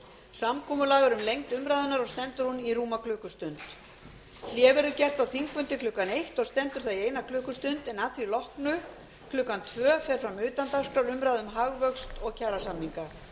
samkomulag er um lengd umræðunnar og stendur hún í rúma klukkustund hlé verður gert á þingfundi klukkan þrettán og stendur það í eina klukkustund en að því loknu klukkan fjórtán fer fram utandagskrárumræða um hagvöxt og kjarasamninga